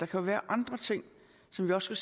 kan være andre ting som vi også